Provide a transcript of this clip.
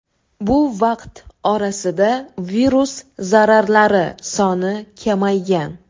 Bu vaqt orasida virus zarralari soni kamaygan.